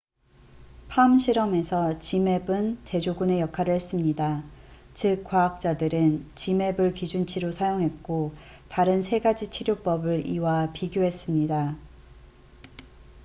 palm 실험에서 zmapp은 대조군의 역할을 했습니다 즉 과학자들은 zmapp을 기준치로 사용했고 다른 세 가지 치료법을 이와 비교했습니다